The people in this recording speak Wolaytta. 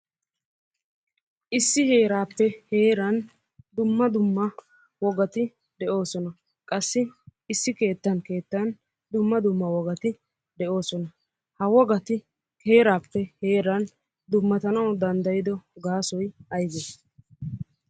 Issi heeraappe heeran dumma dumma wogati de'oosona. Qassi issi keettana keettan dumma dumma wogati de'oosona. Ha wogati heeraappe heeran dummatanawu danddayido gaasoy ayibee?